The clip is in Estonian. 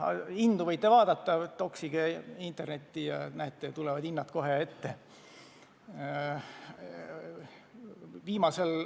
Hindu võite vaadata – toksige internetti, ja tulevad hinnad kohe ette.